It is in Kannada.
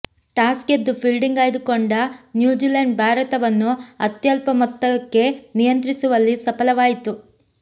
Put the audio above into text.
ಟಾಸ್ ಗೆದ್ದು ಫೀಲ್ಡಿಂಗ್ ಆಯ್ದುಕೊಂಡ ನ್ಯೂಜಿಲೆಂಡ್ ಭಾರತವನ್ನು ಅತ್ಯಲ್ಪ ಮೊತ್ತಕ್ಕೆ ನಿಯಂತ್ರಿಸವಲ್ಲಿ ಸಫಲವಾಯಿತು